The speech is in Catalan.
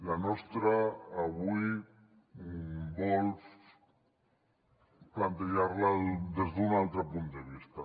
la nostra avui volem plantejar la des d’un altre punt de vista